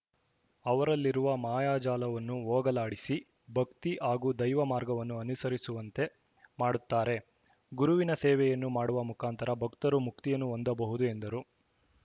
ಅವರಲ್ಲಿರುವ ಮಾಯಾಜಾಲವನ್ನು ಹೋಗಲಾಡಿಸಿ ಭಕ್ತಿ ಹಾಗೂ ದೈವ ಮಾರ್ಗವನ್ನು ಅನುಸರಿಸುವಂತೆ ಮಾಡುತ್ತಾರೆ ಗುರುವಿನ ಸೇವೆಯನ್ನು ಮಾಡುವ ಮುಖಾಂತರ ಭಕ್ತರು ಮುಕ್ತಿಯನ್ನು ಹೊಂದಬಹುದು ಎಂದರು